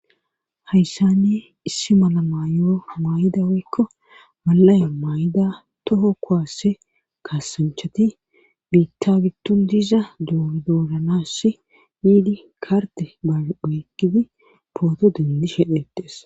hayssanne issi mala mayo maay7ida weykko malaya maay7ida toho kowaasse kaassanchati biitta gidton diiza doordoodanassi yiidi karte baeygidi pooto dendi shedhetees